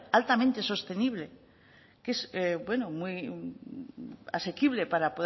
altamente sostenible que es asequible para